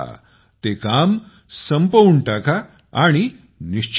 ते काम संपवून टाका आणि निश्चिंत व्हा